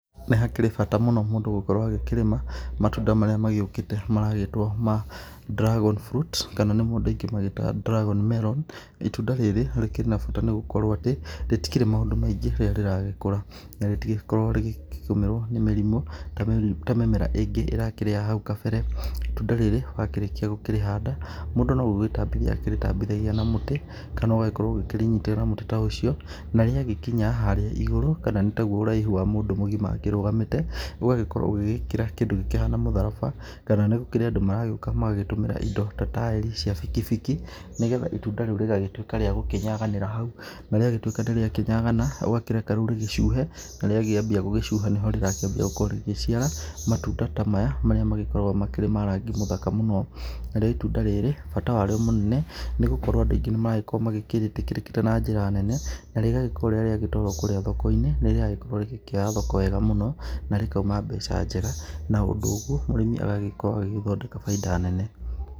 Nĩ hakĩrĩ bata mũno mũndũ gũkorwo agĩkĩrĩma matunda marĩa magĩũkĩte maragĩtwo ma dragon fruit kana nĩmo andũ aingĩ magĩtaga dragon melon. Itunda rĩrĩ rĩkĩrĩ na bata nĩ gũkorwo atĩ rĩtikĩrĩ maũndũ maingĩ rĩrĩa rĩragĩkũra na rĩtikoragwo rĩgĩkĩgomerwo nĩ mĩrimũ ta mĩmera ĩngĩ ĩrakĩrĩ ya hau kabere. Itunda rĩrĩ wakĩrĩkia gukĩrĩ handa mũndũ no kũrĩtambithia ũkoragwo ũkĩrĩtambithia na mũtĩ kana ũkarĩnyitĩrĩra na mũtĩ ta ũcio na rĩagĩkinya harĩa igũrũ kana nĩ taguo ũraihu wa mũndũ mũgima akĩrugamĩte, ũgagĩkorwo ũgĩgĩkĩra kĩndũ gĩkĩhana mũtharaba kana nĩ kũrĩ andũ maragĩũka magagĩtũmĩra indo ta taĩri cia bikibiki. Nĩ getha itunda rĩu rĩgagĩtuĩka rĩa gũkĩnyaganĩra hau, na rĩagĩtuĩka nĩ rĩakĩnyaga ũgakĩreka rĩu rĩcuhe na rĩakĩambia gũcuha nĩho rĩu rĩrakĩambia gũkorwo rĩrakĩambia gũkorwo rĩgĩciara matunda ta maya marĩa magĩkoragwo makĩrĩ ma rangi mũthaka mũno. Narĩo itunda rĩrĩ bata warĩo mũnene nĩ gũkorwo andũ aingĩ nĩ marakorwo magĩkĩrĩkĩrĩte na njĩra nene na rĩgagĩkorwo rĩrĩa rĩagĩtwarwo kũrĩa thoko-inĩ nĩ rĩragĩkorwo rĩgĩkĩoya thoko wega mũno, na rĩkauma mbeca njega. Na ũndũ ũguo mũrĩmi agagĩkorwo agĩthondeka bainda nene.